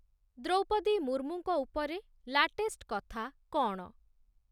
ଦ୍ରୌପଦୀ ମୁର୍ମୁଙ୍କ ଉପରେ ଲାଟେଷ୍ଟ୍‌ କଥା କ'ଣ